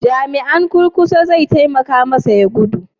Jami'in kurkusa zai taimaka masa ya gudu?